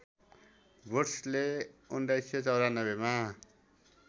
वुड्सले १९९४ मा